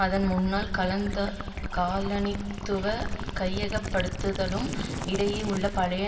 அதன் முன்னாள் கலந்த காலனித்துவ கையகப்படுத்தலுக்கும் இடையே உள்ள பழைய